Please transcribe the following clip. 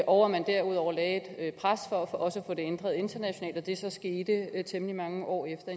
og at man derudover lagde et pres for også at få det ændret internationalt det skete så temmelig mange år efter